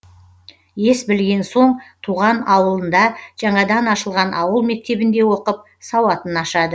ес білген соң туған ауылында жаңадан ашылған ауыл мектебінде оқып сауатын ашады